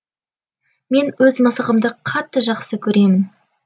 мен өз мысығымды қатты жақсы көремін